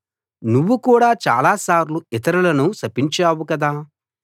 నువ్వు కూడా చాలాసార్లు ఇతరులను శపించావు కదా